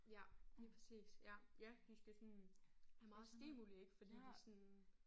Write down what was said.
Ja lige præcis ja ja de skal sådan have meget stimuli ik fordi de sådan